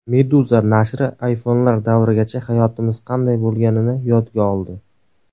Meduza nashri iPhone’lar davrigacha hayotimiz qanday bo‘lganini yodga oldi .